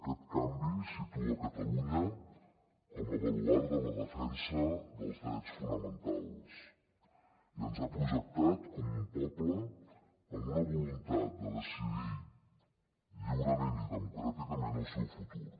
aquest canvi situa catalunya com a baluard de la defensa dels drets fonamentals i ens ha projectat com un poble amb una voluntat de decidir lliurement i democràticament el seu futur